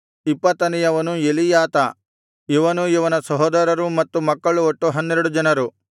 ಇಪ್ಪತ್ತನೆಯವನು ಎಲೀಯಾತ ಇವನೂ ಇವನ ಸಹೋದರರೂ ಮತ್ತು ಮಕ್ಕಳು ಒಟ್ಟು ಹನ್ನೆರಡು ಜನರು